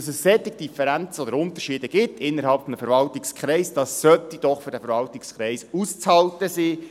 Dass es solche Unterschiede innerhalb eines Verwaltungskreises gibt, sollte doch für diesen Verwaltungskreis auszuhalten sein.